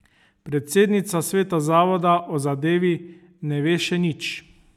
Predsednica sveta zavoda o zadevi ne ve še nič.